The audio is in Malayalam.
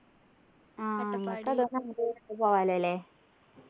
ആഹ് പോകാല്ലോ ല്ലേ